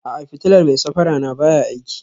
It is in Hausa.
A'a, fitilar mai safara na baya aiki